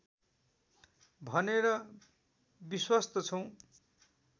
भनेर विश्वस्त छौँ